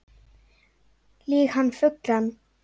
Lýg hann fullan